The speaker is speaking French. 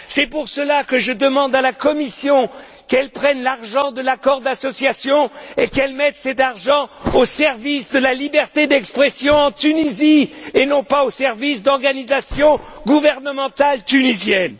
C'est pour cela que je demande à la Commission qu'elle prenne l'argent de l'accord d'association et qu'elle mette cet argent au service de la liberté d'expression en Tunisie et non pas au service d'organisations gouvernementales tunisiennes.